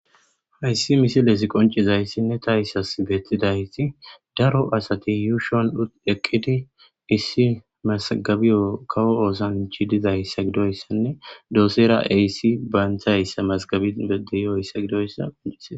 Hayis misilezi qonicizasine tas betizays daro asati yushani eqidi issi mazagabewu kawo osanici dizayisane dosera issi mazabi dizayisane beses